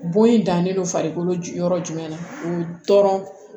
Bon in dannen don farikolo yɔrɔ jumɛn na o bɛ dɔrɔn